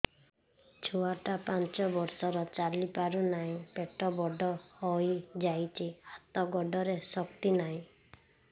ଛୁଆଟା ପାଞ୍ଚ ବର୍ଷର ଚାଲି ପାରୁ ନାହି ପେଟ ବଡ଼ ହୋଇ ଯାଇଛି ହାତ ଗୋଡ଼ରେ ଶକ୍ତି ନାହିଁ